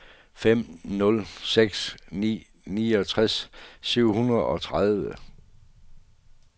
fem nul seks ni niogtres syv hundrede og tredive